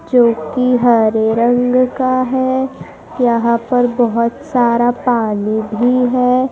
जो कि हरे रंग का है यहां पर बहुत सारा पानी भी है।